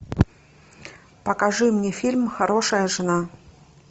покажи мне фильм хорошая жена